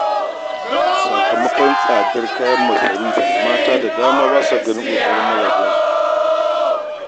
Sakamakon tsadar kayan masarufi, mata da dama ba sa ganin ƙoƙarin mazajensu.